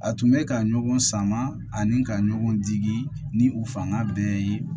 A tun bɛ ka ɲɔgɔn sama ani ka ɲɔgɔn digi ni u fanga bɛɛ ye